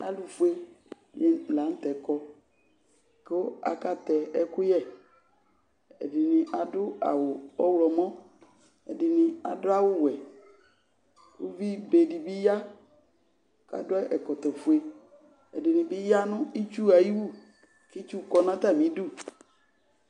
alʊfueni lanʊtɛ kɔ kʊ akatɛ ɛkʊyɛ ɛdɩnɩ adʊ awʊ ɔwlɔmɔ edɩnɩ adʊawʊwɛ uvibe dibɩ ya kadʊ ɛkɔtɔfue ɛdɩnɩbɩ ya nʊ itsu ayiwu kitsu dʊ atamidu